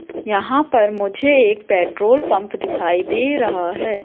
यहां पर मुझे एक पेट्रोल पंप दिखाई दे रहा है।